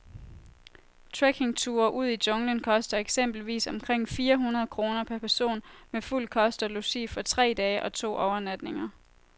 Trekkingture ud i junglen koster eksempelvis omkring fire hundrede kroner per person med fuld kost og logi for tre dage og to overnatninger.